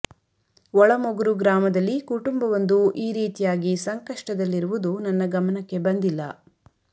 ಒಳಮೊಗ್ರು ಗ್ರಾಮದಲ್ಲಿ ಕುಟುಂಬವೊಂದು ಈ ರೀತಿಯಾಗಿ ಸಂಕಷ್ಟದಲಿರುವುದು ನನ್ನ ಗಮನಕ್ಕೆ ಬಂದಿಲ್ಲ